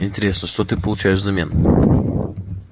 интересно что ты получаешь взамен